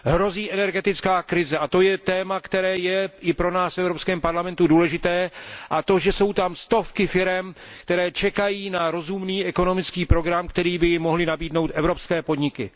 Hrozí energetická krize a to je téma, které je i pro nás v Evropském parlamentu důležité, jako i to, že jsou tam stovky firem, které čekají na rozumný ekonomický program, který by jim mohly nabídnout evropské podniky.